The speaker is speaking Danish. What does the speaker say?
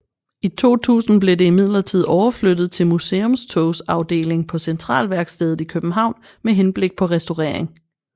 I 2000 blev det imidlertid overflyttet til Museumstogs afdeling på Centralværkstedet i København med henblik på restaurering